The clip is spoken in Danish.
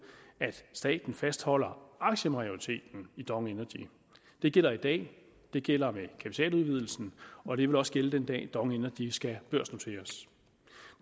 at staten fastholder aktiemajoriteten i dong energy det gælder i dag det gælder med kapitaludvidelsen og det vil også gælde den dag dong energy skal børsnoteres